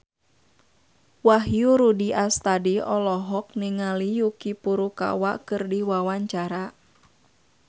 Wahyu Rudi Astadi olohok ningali Yuki Furukawa keur diwawancara